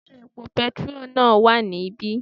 Sé epo petiró náà wà níbí?